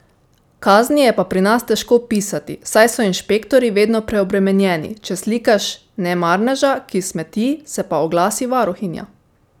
Kazni je pa pri nas težko pisati, saj so inšpektorji vedno preobremenjeni, če slikaš nemarneža, ki smeti, se pa oglasi varuhinja.